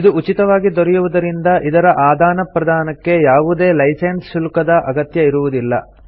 ಇದು ಉಚಿತವಾಗಿ ದೊರೆಯುವುದರಿಂದ ಇದರ ಆದಾನ ಪ್ರದಾನಕ್ಕೆ ಯಾವುದೇ ಲೈಸೆನ್ಸ್ ಶುಲ್ಕದ ಅಗತ್ಯ ಇರುವುದಿಲ್ಲ